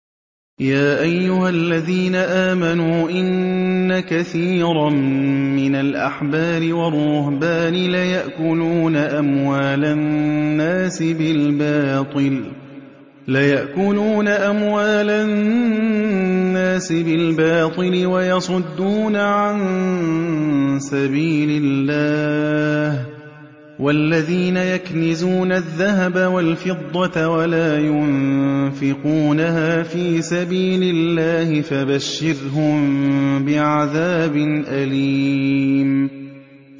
۞ يَا أَيُّهَا الَّذِينَ آمَنُوا إِنَّ كَثِيرًا مِّنَ الْأَحْبَارِ وَالرُّهْبَانِ لَيَأْكُلُونَ أَمْوَالَ النَّاسِ بِالْبَاطِلِ وَيَصُدُّونَ عَن سَبِيلِ اللَّهِ ۗ وَالَّذِينَ يَكْنِزُونَ الذَّهَبَ وَالْفِضَّةَ وَلَا يُنفِقُونَهَا فِي سَبِيلِ اللَّهِ فَبَشِّرْهُم بِعَذَابٍ أَلِيمٍ